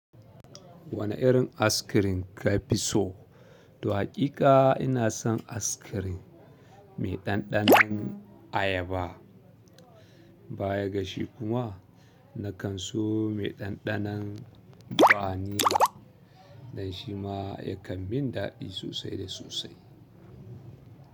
Wane irin ice cream ka fi so? To haƙiƙa ina son ice cream mai ɗanɗanon ayaba. Baya gashi kuma nakan so mai ɗanɗanon vanilla, don shima yakan min daɗi sosai da sosai.